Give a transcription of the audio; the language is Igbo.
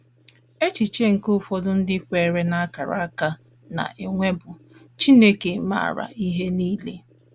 Echiche nke ụfọdụ ndị kweere n’akara aka na - enwe bụ: Chineke maara ihe nile.